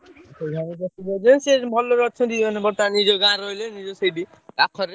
ସେ ଘର ପାଖରେ ଭଲରେ ଅଛନ୍ତି ବର୍ତ୍ତମାନ ନିଜ ଗାଁ ରେ ରହିଲେ ନିଜ ସେଇଠି ପାଖରେ।